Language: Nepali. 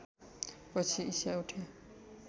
पछि ईशा उठे